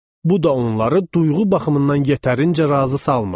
Bu da onları duyğu baxımından yetərincə razı salmırdı.